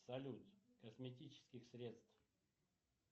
салют косметических средств